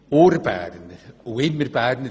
Sie waren schon immer Berner.